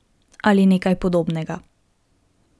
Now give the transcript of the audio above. Ali nekaj podobnega.